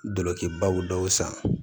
Dɔlɔkibaw dɔw san